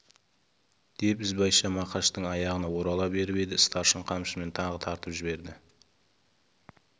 деп ізбайша мақаштың аяғына орала беріп еді старшын қамшымен тағы тартып жіберді